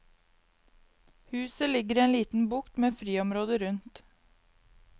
Huset ligger i en liten bukt med friområde rundt.